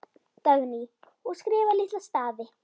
Dagný: Og skrifa litla stafi.